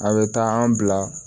A bɛ taa an bila